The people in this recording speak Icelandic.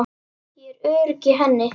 Ég er örugg í henni.